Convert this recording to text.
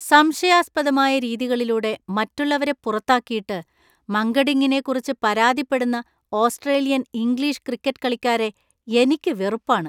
സംശയാസ്പദമായ രീതികളിലൂടെ മറ്റുള്ളവരെ പുറത്താക്കിയിട്ട് , മങ്കഡിംഗിനെക്കുറിച്ച് പരാതിപ്പെടുന്ന ഓസ്ട്രേലിയൻ, ഇംഗ്ലീഷ് ക്രിക്കറ്റ് കളിക്കാരെ എനിക്ക് വെറുപ്പാണ്.